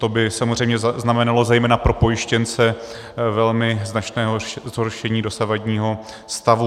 To by samozřejmě znamenalo zejména pro pojištěnce velmi značné zhoršení dosavadního stavu.